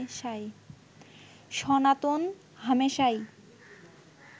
সনাতন হামেশাই